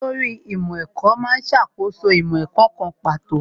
Olórí ìmọ̀ ẹ̀kọ́ má ń ṣàkóso ìmọ̀ ẹ̀kọ́ kan pàtó